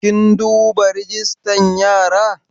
Kin duba rajistan yara?